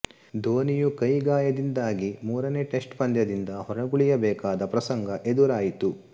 ಧೋನಿಯು ಕೈ ಗಾಯದಿಂದಾಗಿ ಮೂರನೇ ಟೆಸ್ಟ್ ಪಂದ್ಯದಿಂದ ಹೊರಗುಳಿಯಬೇಕಾದ ಪ್ರಸಂಗ ಎದುರಾಯಿತು